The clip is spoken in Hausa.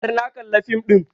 Har na kalla fim ɗin